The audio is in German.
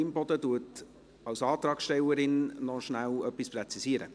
Imboden wird als Antragstellerin kurz etwas präzisieren.